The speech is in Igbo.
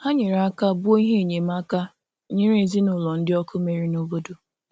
Hà nyere aka bùo ihe enyemáka nyèrè ezinụlọ̀ ndị ọkụ mere n’obodo.